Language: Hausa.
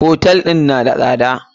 Hotel ɗin na da tsada.